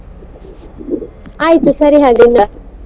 ಆಯ್ತು ಸರಿ ಹಾಗಾದ್ರೆ.